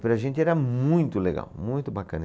Para a gente era muito legal, muito bacana.